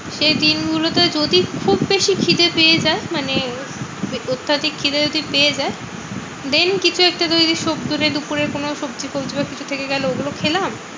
সেই দিনগুলোতে যদি খুব বেশি খিদে পেয়ে যায় মানে অত্যাধিক খিদে যদি পেয়ে যায়, then কিছু একটা তৈরী সবজি দুপুরের কোনো সবজি ফোবজি কিছু থেকে গেলো ওগুলো খেলাম।